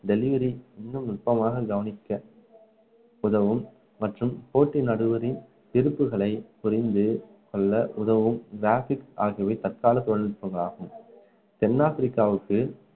delivery இன்னும் நுட்பமாக கவனிக்க உதவும் மற்றும் போட்டி நடுவரின் விருப்புகளை புரிந்துகொள்ள உதவும் graphics ஆகியவை தற்கால தொழில்நுட்பங்கள் ஆகும் தென் ஆப்பிரிக்காவுக்கும்